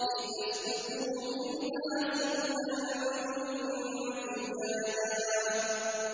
لِّتَسْلُكُوا مِنْهَا سُبُلًا فِجَاجًا